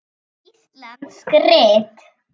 Íslensk rit